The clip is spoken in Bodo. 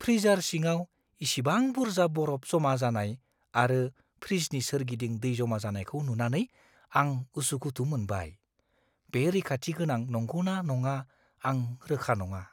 फ्रिजार सिङाव इसिबां बुरजा बरफ जमा जानाय आरो फ्रिजनि सोरगिदिं दै जमा जानायखौ नुनानै आं उसुखुथु मोनबाय; बे रैखाथि गोनां नंगौ ना नङा आं रोखा नङा।